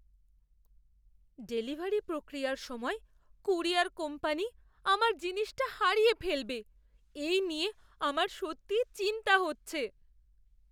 Delivery প্রক্রিয়ার সময় courier company আমার জিনিসটা হারিয়ে ফেলবে এই নিয়ে আমার সত্যিই চিন্তা হচ্ছে!